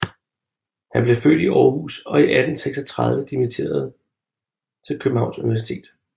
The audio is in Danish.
Han blev født i Aarhus og 1836 dimitteret til Københavns Universitet